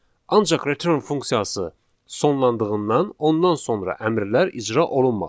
Ancaq return funksiyası sonlandığından ondan sonra əmrlər icra olunmadı.